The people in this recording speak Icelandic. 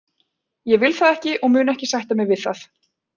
Ég vil það ekki og ég mun ekki sætta mig við það.